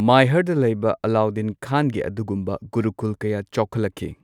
ꯃꯥꯏꯍꯥꯔꯗ ꯂꯩꯕ ꯑꯂꯥꯎꯗꯤꯟ ꯈꯥꯟꯒꯤ ꯑꯗꯨꯒꯨꯝꯕ ꯒꯨꯔꯨꯀꯨꯜ ꯀꯌꯥ ꯆꯥꯎꯈꯠꯂꯛꯈꯤ꯫